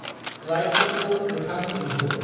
लाइटफोरखौ गोथां जोंहो।